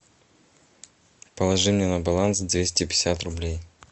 положи мне на баланс двести пятьдесят рублей